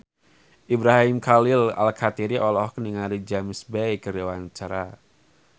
Ibrahim Khalil Alkatiri olohok ningali James Bay keur diwawancara